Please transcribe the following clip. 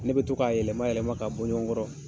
Ne bɛ to k'a yɛlɛma yɛlɛma ka bɔ ɲɔgɔn kɔrɔ.